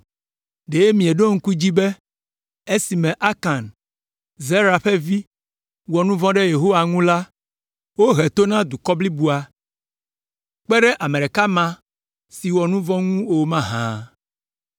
Ɖe mieɖo ŋku edzi be esime Akan, Zera ƒe vi, wɔ nu vɔ̃ ɖe Yehowa ŋu la, wohe to na dukɔ blibo la, kpe ɖe ame ɖeka ma si wɔ nu vɔ̃ ŋu o mahã?”